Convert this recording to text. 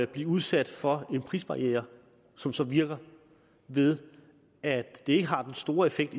blive udsat for en prisbarriere som så virker ved at det ikke har den store effekt